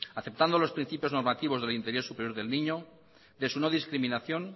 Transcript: aceptando los principios normativos de superior del niño de su no discriminación